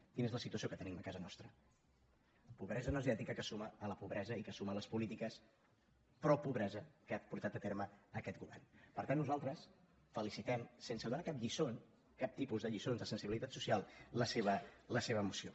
quina és la situació que tenim a casa nostra pobresa energètica que es suma a la pobresa i que es suma a les polítiques propobresa que ha portat a terme aquest governper tant nosaltres felicitem sense donar cap lliçó cap tipus de lliçó de sensibilitat social la seva moció